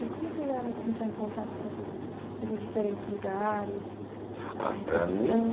E como chegaram a entrar em contato com essas esses diferentes lugares, a recepção... Ah, para mim